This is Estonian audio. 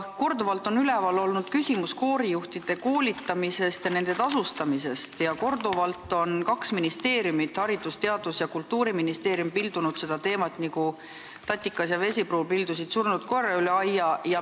Korduvalt on üleval olnud küsimus koorijuhtide koolitamisest ja nende tasustamisest ning korduvalt on kaks ministeeriumit – Haridus- ja Teadusministeerium ja Kultuuriministeerium – pildunud seda teemat, nagu Tatikas ja Vesipruul pildusid surnud koera edasi-tagasi üle aia.